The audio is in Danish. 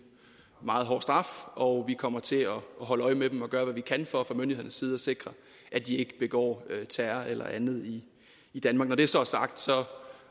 meget hård straf og vi kommer til at holde øje med dem og gøre hvad vi kan for fra myndighedernes side at sikre at de ikke begår terror eller andet i danmark når det så er sagt